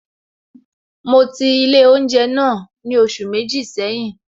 Mo ti ilé oúnjẹ náà ni oṣù méjì seyin